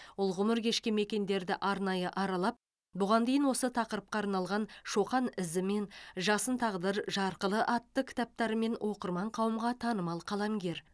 ол ғұмыр кешкен мекендерді арнайы аралап бұған дейін осы тақырыпқа арналған шоқан ізімен жасын тағдыр жарқылы атты кітаптарымен оқырман қауымға танымал қаламгер